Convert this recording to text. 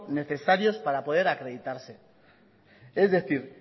necesarios para poder acreditarse es decir